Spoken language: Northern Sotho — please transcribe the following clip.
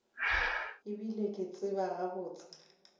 e bile ke tseba gabotse